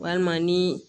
Walima ni